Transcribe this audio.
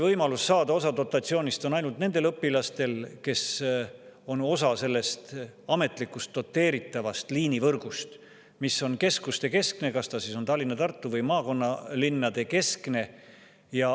Võimalus saada osa dotatsioonist on ainult nendel õpilas, mis on osa ametlikust doteeritavast liinivõrgust, mis on keskustekeskne – Tallinna‑, Tartu‑ või maakonnalinnade keskne.